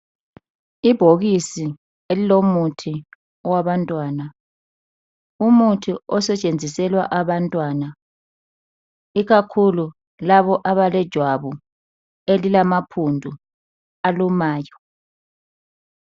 Ibhokisi elilomuthi wabantwana. Umuthi osetshenziselwa abantwana ikakhulu labo abalejwabu elilamaqhubu alumayo.